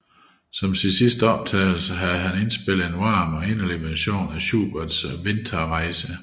Som sin sidste optagelse har han indspillet en varm og inderlig version af Schuberts Winterreise